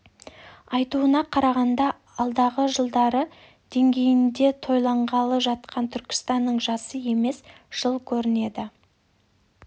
айтуына қарағанда алдағы жылдары деңгейінде тойланғалы жатқан түркістанның жасы емес жыл көрінеді